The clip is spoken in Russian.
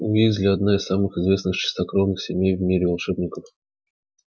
уизли одна из самых известных чистокровных семей в мире волшебников